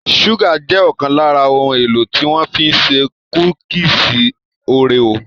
Ṣúgà jẹ́ ọ̀kan lára ohun-èlò tí wọ́n fi ṣe kúkísì òréò.